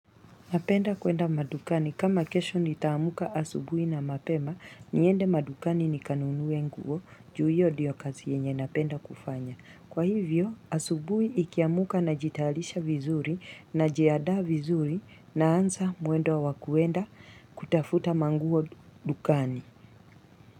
Napenda kwenda madukani kama kesho nitaamka asubuhi na mapema niende madukani nikanunue nguo ju hiyo ndiyo kazi yenye napenda kufanya kwa hivyo asubuhi nikiamka najitayarisha vizuri najiandaa vizuri naanza mwendo wa wakuenda kutafuta manguo dukani.